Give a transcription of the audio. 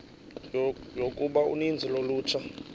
yokuba uninzi lolutsha